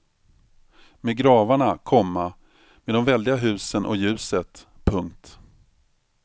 Med gravarna, komma med de väldiga husen och ljuset. punkt